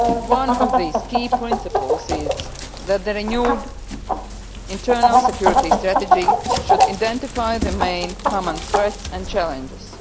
One of these key principles is that the renewed internal security strategy should identify the main common threats and challenges.